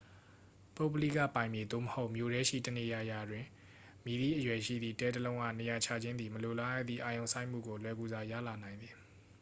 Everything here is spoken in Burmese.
ပုဂ္ဂလိကပိုင်မြေ သို့မဟုတ် မြို့ထဲရှိတနေရာရာတွင် မည့်သည့်အရွယ်ရှိသည့် တဲ တစ်လုံးအား နေရာချခြင်းသည် မလိုလားအပ်သည့် အာရုံစိုက်မှုကို လွယ်ကူစွာ ရလာနိုင်သည်